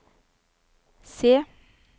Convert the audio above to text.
se